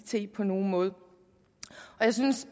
it på nogen måde jeg synes